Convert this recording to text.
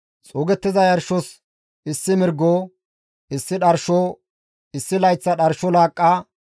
Xuugettiza yarshos issi mirgo, issi dharsho, issi layththa dharsho laaqqa,